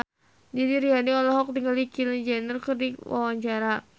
Didi Riyadi olohok ningali Kylie Jenner keur diwawancara